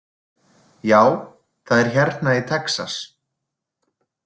Já, það er hérna í Texas.